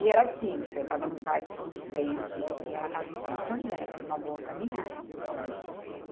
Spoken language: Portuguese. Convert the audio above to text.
E era assim, eu estava no Parque São Vicente e ela estava em Santo André, era uma boa caminhada.